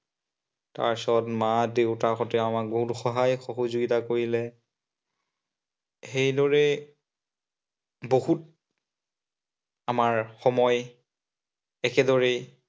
পাছত মা- দেউতাহঁতে আমাক বহুত সহায় সহযোগিতা কৰিলে। সেইদৰেই বহুত আমাৰ সময় একেদৰেই